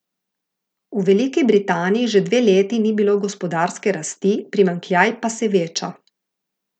V Veliki Britaniji že dve leti ni bilo gospodarske rasti, primanjkljaj pa se veča.